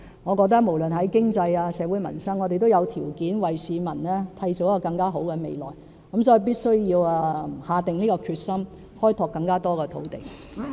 我認為無論是經濟或社會民生，我們都有條件為市民締造更好的未來，所以必須下定決心，開拓更多土地。